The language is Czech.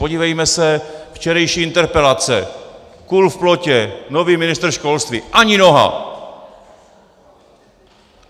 Podívejme se včerejší interpelace - kůl v plotě, nový ministr školství, ani noha.